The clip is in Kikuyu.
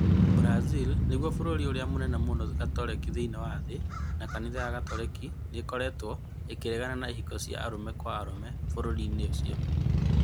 Brazil nĩrĩo bũrũri ũrĩa mũnene mũno wa Gatoreki thĩinĩ wa thĩ, na kanitha wa Gatoreki nĩ ũkoretwo ũkararia kũrekererio kwa ihiko cia arũme kwa arũme bũrũri-inĩ ũcio.